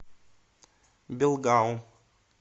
белгаум